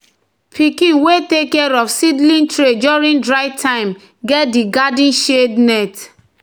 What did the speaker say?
"na di pikin wey take care of seedling tray during dry time get di garden shade net."